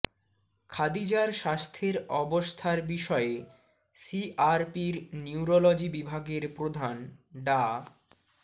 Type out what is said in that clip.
খাদিজার স্বাস্থ্যের অবস্থার বিষয়ে সিআরপির নিউরোলজি বিভাগের প্রধান ডা